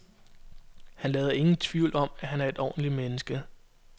Han lader ingen i tvivl om, at han er et ordentligt menneske.